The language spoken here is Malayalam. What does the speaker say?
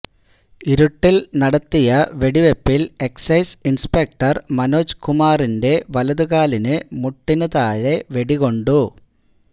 ഇരുട്ടില് നടത്തിയ വെടിവെപ്പില് എക്സൈസ് ഇന്സ്പെക്ടര് മനോജ് കുമാറിന്റെ വലതുകാലിന് മുട്ടിനുതാഴെ വെടികൊണ്ടു